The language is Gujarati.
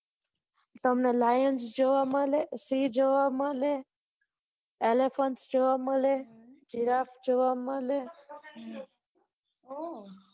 તમને lion જોવા શી જોવા મળે મળે elephant જોવા મળે giraffe જોવા મળે